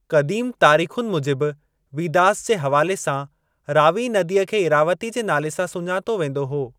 क़दीम तारीख़ुनि मूजिबि वीदास जे हवाले सां, रावी नदीअ खे इरावती जे नाले सां सुञातो वेंदो हो।